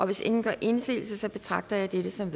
hvis ingen gør indsigelse betragter jeg dette som